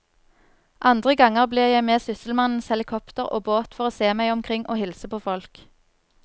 Andre ganger blir jeg med sysselmannens helikopter og båt for å se meg omkring og hilse på folk.